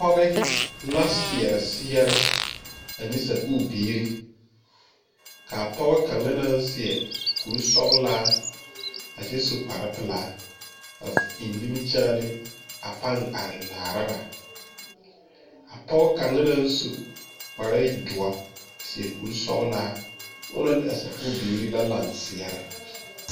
Poge la seɛrɛ seɛɛre ane sakuure biire kaa pogɔ kaŋa naŋ seɛ kuresɔglaa kyɛ su kparepilaa a eŋ nimikyaane a pang are laara ba a poge kaŋa naŋ su kpare doɔ seɛ kuresɔglaa onɔ ne a sakuure biire la lang seɛɛrɛ.